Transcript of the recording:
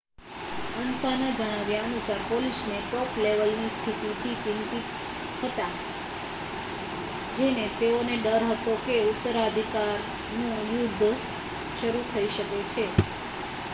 "અન્સાના જણાવ્યા અનુસાર "પોલીસને ટોપલેવલની સ્થિતિથી ચિંતિત હતા જેને તેઓને ડર હતો કે ઉત્તરાધિકારનું યુદ્ધ શરૂ થઈ શકે છે.